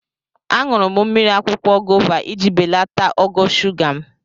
Aṅụrụ mmiri akwụkwọ gova iji belata ogo shuga m.